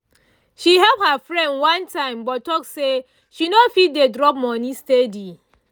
she help her friend one time but talk say she no fit dey drop money steady